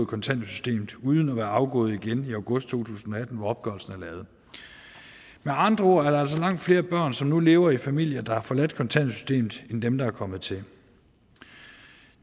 kontanthjælpssystemet uden at være afgået igen i august to tusind og atten hvor opgørelsen er lavet med andre ord er der altså langt flere børn som nu lever i familier der har forladt kontanthjælpssystemet er kommet til